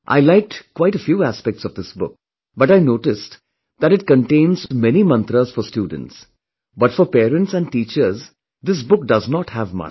I liked quite a few aspects of this book, but I noticed that it contains may mantras for students, but for parents and teachers, this book does not have much